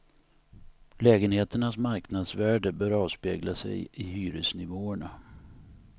Lägenheternas marknadsvärde bör avspegla sig i hyresnivåerna.